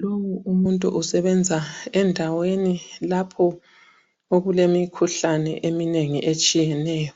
Lowu umuntu usebenza endaweni lapho okulemikhuhlane eminengi etshiyeneyo,